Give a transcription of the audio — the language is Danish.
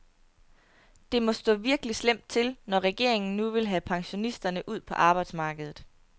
Det må stå virkelig slemt til, når regeringen nu vil have pensionisterne ud på arbejdsmarkedet.